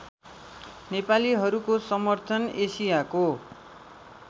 नेपालीहरूको समर्थन एसियाको